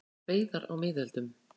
Veiðar á miðöldum.